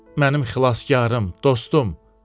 Mənim xilaskarım, dostum,